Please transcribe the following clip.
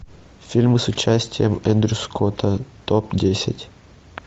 фильмы с участием эндрю скотта топ десять